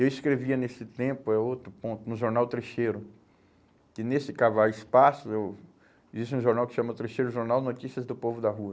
Eu escrevia nesse tempo, é outro ponto, no jornal Trecheiro, que nesse cavar espaço, eu, existe um jornal que chama Trecheiro Jornal Notícias do Povo da Rua.